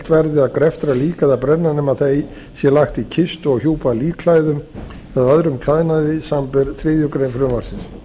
verði að greftra lík eða brenna nema það sé lagt í kistu og hjúpað líkklæðum eða öðrum klæðnaði samanber þriðju greinar frumvarpsins